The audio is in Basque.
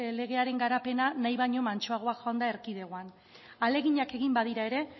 legearen garapena nahi baino mantsoagoa joan da erkidegoan ahaleginak egin badira ere